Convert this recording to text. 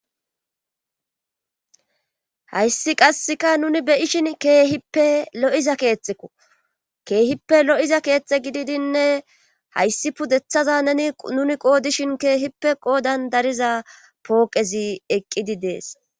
hayssi qasseka nuni beyishin keehippe lo7iza keetxekko keehippe lo7iza keexxe gididinne hayssi pudeththaza neni nuni qoodishin keehippe qoodan dariza pooqezi eqqidi dees